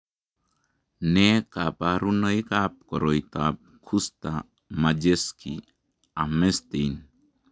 Nee kabarunoikab koroitoab Kuster Majewski Hammerstein ?